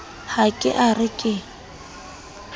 ha ke a re ke